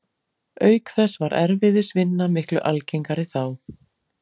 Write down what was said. Auk þess var erfiðisvinna miklu algengari þá.